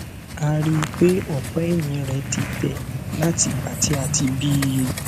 a rí i pé ọpá ẹyìn rẹ ti tẹ láti ìgbà tí a ti bí i